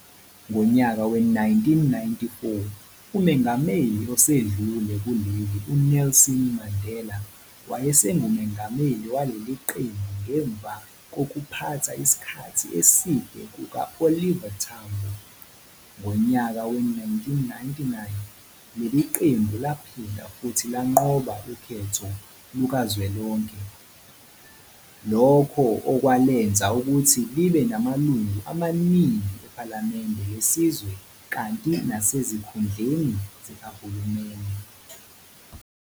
Ngonyaka we-1994 umengameli osedlule kuleli uNelson Mandela wayesengumengameli waleliqembu ngemva kokukuphatha isikhathi eside kuka Oliver Tambo. Ngonyaka we-1999,leli qembu laphinda futhi lanqoba ukhetho lukazwelonke, lokho okwalenza ukuthi libe namalungu amaningi ephalamende lesizwe kanti nasezikhundleni zikahulumeni.